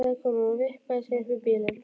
sagði konan og vippaði sér upp í bílinn.